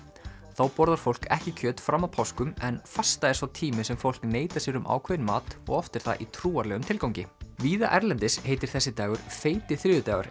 þá borðar fólk ekki kjöt fram að páskum en fasta er sá tími sem fólk neitar sér um ákveðinn mat og oft er það í trúarlegum tilgangi víða erlendis heitir þessi dagur feiti þriðjudagur